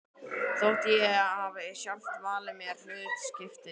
Þótt ég hafi sjálf valið mér hlutskiptið.